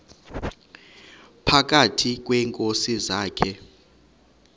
phakathi kweenkosi zakhe